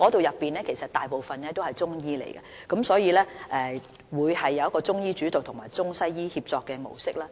由於中醫組大部分成員為中醫，所以會以中醫主導及中西醫協作模式運作。